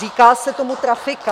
Říká se tomu trafika.